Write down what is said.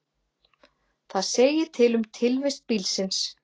það segir til um tilvist bílsins